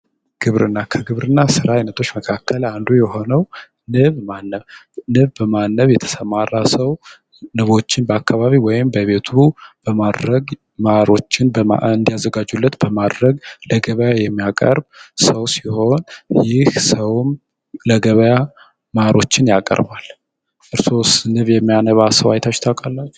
ግብርና ከግብርና ስራ አይነቶች መካከል አንዱ የሆነው ንብ ማነብ ፤ ንብ በማነብ የተሰማራ ሰው ንቦችን በአካባቢ ወይም በቤቱ በማድረግ ማሮችን እንዲያዘጋጁለት በማድረግ ለገበያ የሚያቀርብ ሰው ሲሆን፤ ይህ ሰውም ለገበያ ማሮችን ያቀርባል። እርሶስ ንብ የሚያነባ ሰው አይታችሁ ታውቃላችሁ?